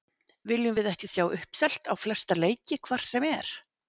Viljum við ekki sjá uppselt á flesta leiki hvar sem er?